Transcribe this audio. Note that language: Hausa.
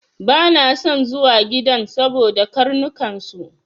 Bana son zuwa gidan saboda karnukan su.